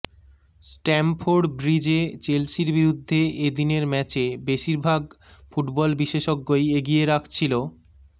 Stamford ব্রিজে চেলসির বিরুদ্ধে এ দিনের ম্যাচে বেশির ভাগ ফুটবল বিশেষজ্ঞই এগিয়ে রাখছিল